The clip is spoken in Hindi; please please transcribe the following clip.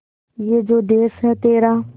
ये जो देस है तेरा